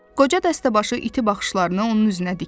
Qoca dəstəbaşı iti baxışlarını onun üzünə dikdi.